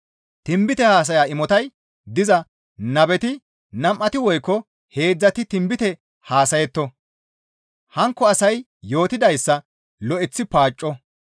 Tinbite haasaya imotay diza nabeti nam7ati woykko heedzdzati tinbite haasayetto; hankko asay yootettidayssa lo7eththi paacco.